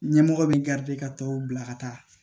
Ɲɛmɔgɔ bɛ ka tɔw bila ka taa